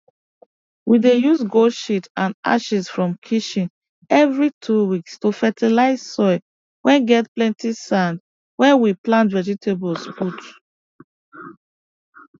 we dey use goat shit and ashes from kitchen every 2 weeks to fertilize soil whey get plenty sand whey we plant vegetables put